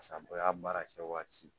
Sabɔ y'a baara kɛ waati